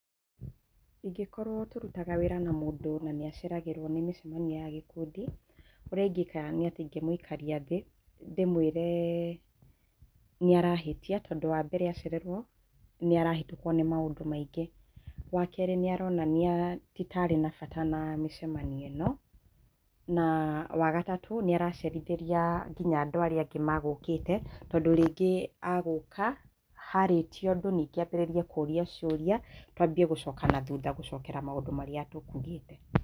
Ingĩkorwo tũrutaga wĩra na mũndũ na nĩ aceragĩrwo na mĩcemanio ya gĩkundi. Ũrĩa ingĩka. nĩ atĩ ingĩmũikaria thĩ, ndĩmwĩre nĩ arahĩtia tondũ wa mbere acererwo, nĩ arahĩtũkwo nĩ maundũ maingĩ. Wa kerĩ nĩ aronania ti ta arĩ na bata na mĩcemanio ĩno, na wagatatũ nĩ aracerithĩria nginya andũ arĩa angĩ magũũkĩte, tondũ rĩngĩ agũũka, harĩtio ũndũ ningĩ ambĩrĩrie kũũria ciũria, tũambie gũcoka na thutha gũcokera maũndũ marĩa tũkuugĩte.